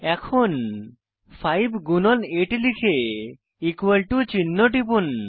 এখন 5 গুণন 8 লিখে ইকুয়াল টু চিহ্ন টিপুন